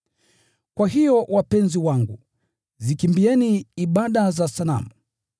Kwa hiyo wapenzi wangu, zikimbieni ibada za sanamu.